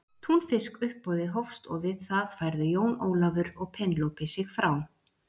Túnfiskuppboðið hófst og við það færðu Jón Ólafur og Penélope sig frá.